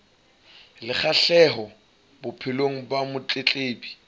le kgahleho bophelong ba motletlebi